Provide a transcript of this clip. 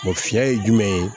fiyɛ ye jumɛn ye